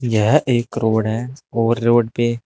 यह एक रोड़ है और रोड पे--